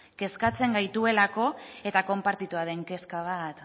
kezkatzen gaituelako eta konpartitua den kezka bat